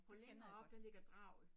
På længere op der ligger draget